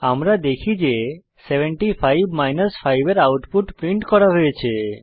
আমরা দেখি যে 75 5 এর আউটপুট প্রিন্ট করা হয়েছে